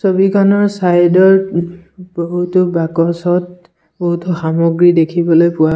ছবিখনৰ ছাইডত ও বহুতো বাকচত বহুতো সমগ্ৰী দেখিবলৈ পোৱা--